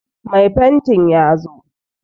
Mai fantin ya zo